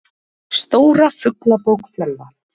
Stóra Fuglabók Fjölva.